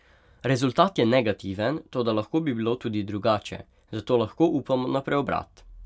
Rezultat je negativen, toda lahko bi bilo tudi drugače, zato lahko upamo na preobrat.